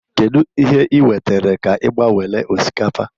kedụ ihe ị wetere ka ị gbanwele osikapa?